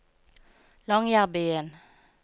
Longyearbyen